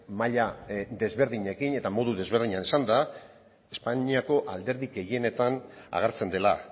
maila desberdinekin eta modu desberdinean esanda espainiako alderdi gehienetan agertzen dela